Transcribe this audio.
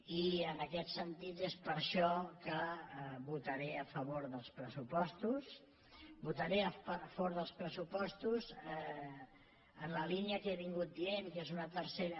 i en aquest sentit és per això que votaré a favor dels pressupostos votaré a favor dels pressupostos en la línia que he anat dient que és una tercera